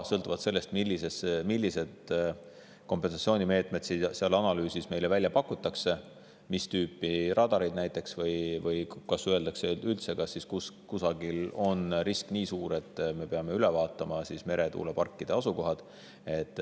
Sõltuvalt sellest, milliseid kompensatsioonimeetmeid meile seal analüüsis välja pakutakse – näiteks mis tüüpi radareid, või öeldakse üldse, et kusagil on risk suur –, me peame üle vaatama meretuuleparkide asukohad.